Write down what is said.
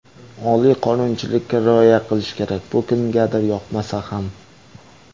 Oliy qonunchilikka rioya qilish kerak, bu kimgadir yoqmasa ham.